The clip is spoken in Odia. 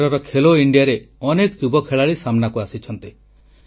ଏଥରର ଖେଲୋ ଇଣ୍ଡିଆରେ ଅନେକ ଯୁବ ଖେଳାଳି ସାମ୍ନାକୁ ଆସିଛନ୍ତି